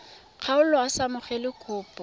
kgaolo a sa amogele kopo